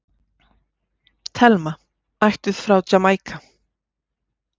Thelma, ættuð frá Jamaíka.